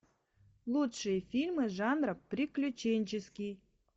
лучшие фильмы жанра приключенческий